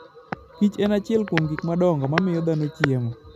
Kich en achiel kuom gik madongo ma miyo dhano chiemo.